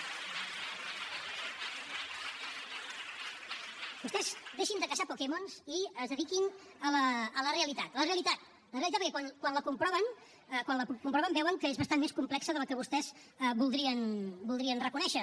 vostès deixin de caçar pokémons i es dediquin a la realitat la realitat la realitat perquè quan la comproven quan la comproven veuen que és bastant més complexa de la que vostès voldrien reconèixer